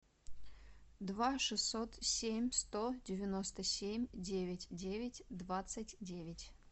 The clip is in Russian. два шестьсот семь сто девяносто семь девять девять двадцать девять